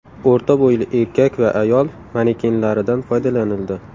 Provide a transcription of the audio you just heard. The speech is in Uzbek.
O‘rta bo‘yli erkak va ayol manekenlaridan foydalanildi.